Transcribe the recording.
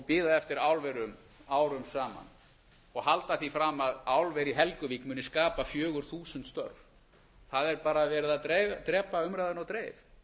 bíða eftir álverum árum saman og halda því fram að álver í helguvík muni skapa fjögur þúsund störf það er bara verið að drepa umræðunni á dreif